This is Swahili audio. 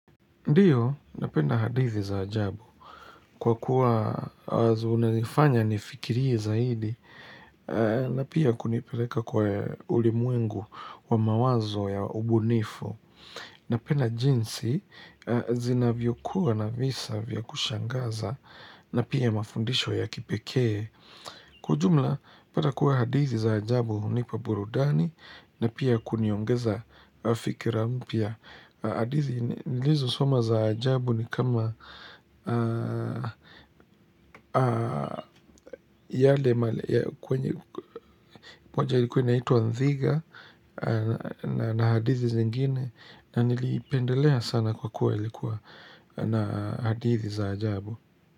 Ndiyo, napenda hadithi za ajabu, kwa kuwa zinanifanya nifikirie zaidi, na pia kunipeleka kwa ulimwengu wa mawazo ya ubunifu. Napenda jinsi zinavyokuwa na visa vya kushangaza, na pia mafundisho ya kipekee. Kwa ujumla, pata kuwa hadithi za ajabu hunipa burudani, na pia kuniongeza fikira mpya. Hadithi nilizosoma za ajabu ni kama yale kwenye moja ilikuwa inaitwa Nthiga na hadithi zingine na niliipendelea sana kwa kuwa ilikuwa na hadithi za ajabu.